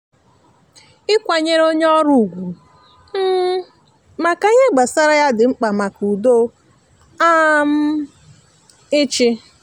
ikwanyere onye ọrụ ugwu um maka ihe gbasara ya di mkpa maka udo um ịchị.